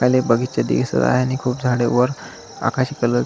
पहिले बगीचे दिसत आहे आणि खूप झाडे वर आकाशी कलर --